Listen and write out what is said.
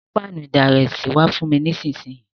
Gbé pánù ìdalẹ̀sí wa fùn mi nísinsìn yi